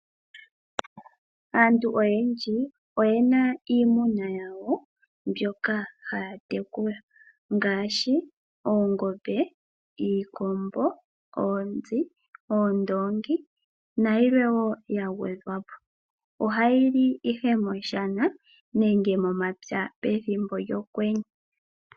Aantu oyendji oyena iimuna yawo mbyoka haya tekula. Ngaashi oongombe, iikombo, oonzi, oondoongi nayilwe woo ya gwedhwa po. Ohayi li ihe moshana nenge momapya pethimbo lyokwenye.